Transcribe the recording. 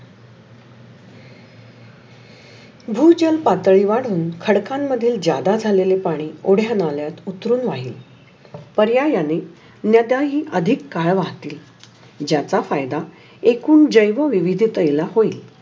भूजल पातळी वाढून खडखन मधील ज्यादा झालेल पाणी ओढया नाल्यात उतरुण राहिल. पर्यायाने नद्याही अधिक काळ वाहते. ज्याचा फायदा एकुन जैवविविधतेला होइल.